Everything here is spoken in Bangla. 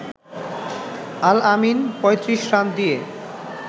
আল-আমিন ৩৫ রান দিয়ে